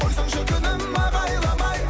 қойсаңшы күнім ағайламай